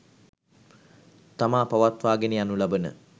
තමා පවත්වාගෙන යනු ලබන